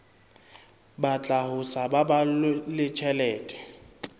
batla ho sa baballe tjhelete